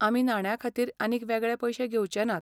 आमी नाण्यांखातीर आनीक वेगळे पैशे घेवचेंनात.